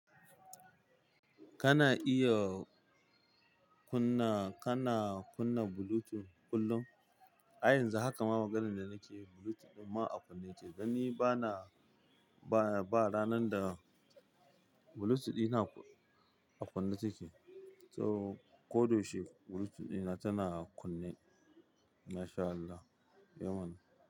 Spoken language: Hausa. Kana iya kunna, kana kunna Bluetooth kullum? A yanzu haka ma maganan da nake yi Bluetooth ɗin ma a kunne ce. Dan ni bana, ba, ba ranar da Bluetooth dina a kunne take. So ko da yaushe Bluetooth dina tana kunne. Masha Allah, eh mana.